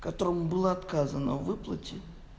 которому было отказано в выплате